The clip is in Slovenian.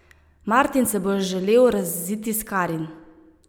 Martin se bo želel raziti s Karin.